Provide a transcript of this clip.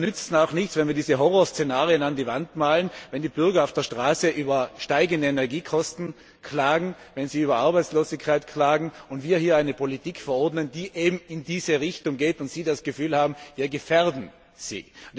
Da nützt es auch nichts, dass wir diese Horrorszenarien an die Wand malen, wenn die Bürger auf der Straße über steigende Energiekosten klagen, wenn sie über Arbeitslosigkeit klagen, und wir hier eine Politik verordnen, die eben in diese Richtung geht, und sie das Gefühl haben, wir gefährden sie.